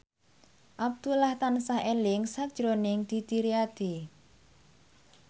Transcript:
Abdullah tansah eling sakjroning Didi Riyadi